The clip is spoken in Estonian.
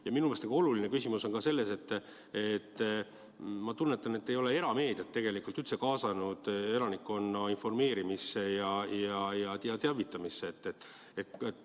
Ja minu meelest oluline küsimus on ka see, et ma tunnetan, et te ei ole erameediat tegelikult üldse kaasanud elanikkonna informeerimisse ja teavitamisse.